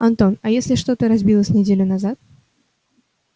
антон а если что-то разбилось неделю назад